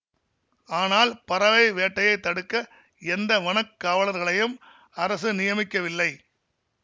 ஆனால் பறவை வேட்டையைத் தடுக்க எந்த வனக் காவலர்களையும் அரசு நியமிக்கவில்லை